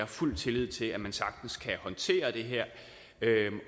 fuld tillid til at man sagtens kan håndtere det her